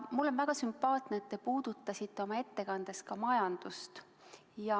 Mulle on väga sümpaatne, et te puudutasite oma ettekandes ka majandust.